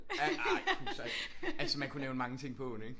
Ej Kuhstall altså man kunne nævne mange ting på åen ikke